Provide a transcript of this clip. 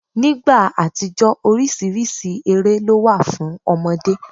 Nígbà àtijó oríṣiríṣi eré ló wà fún ọmọdé.